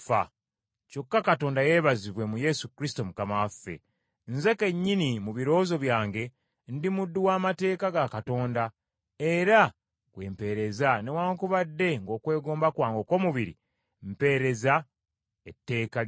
Kyokka Katonda yeebazibwe mu Yesu Kristo Mukama waffe. Nze kennyini mu birowoozo byange, ndi muddu w’amateeka ga Katonda era gwe mpeereza, newaakubadde ng’okwegomba kwange okw’omubiri, mpeereza etteeka ly’ekibi.